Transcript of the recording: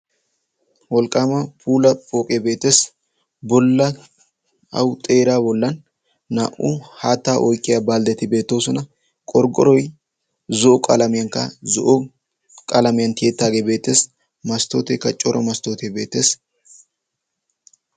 wolqqaama pula pooqe beeteessi bolla au xeera bollan naa"u haattaa oyqqiya balddeti beetoosona. qorggoroi zo'o qalaamiyankka zo'o qalaamiyan tiyettaagee beetteesi masttooteeka coro masttootee beettees.